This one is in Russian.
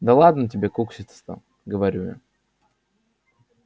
да ладно тебе кукситься-то говорю я